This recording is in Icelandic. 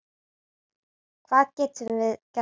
Hvað getum við gert betur?